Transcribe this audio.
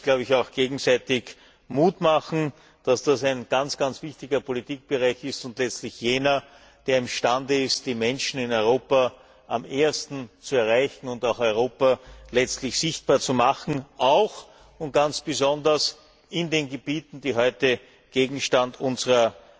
Das soll uns auch gegenseitig Mut machen, dass das ein ganz wichtiger Politikbereich ist und letztlich jener, der imstande ist, die Menschen in Europa am ehesten zu erreichen und Europa letztlich sichtbar zu machen, auch und ganz besonders in den Gebieten, die heute Gegenstand unserer